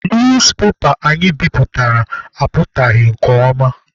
Newspepa anyị bipụtara apụtaghị nke ọma.